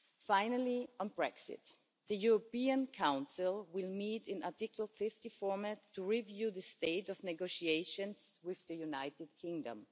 Finally, on Brexit, the European Council will need an Article 50 format to review the state of negotiations with the United Kingdom.